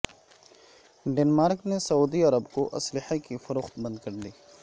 Denmark نے سعودی عرب کو اسلحے کی فروخت بند کر دی